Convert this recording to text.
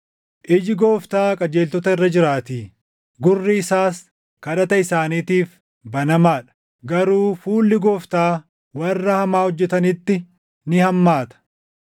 Iji Gooftaa qajeeltota irra jiraatii; gurri isaas kadhata isaaniitiif banamaa dha; garuu fuulli Gooftaa warra hamaa hojjetanitti ni hammaata.” + 3:12 \+xt Far 34:12‑16\+xt*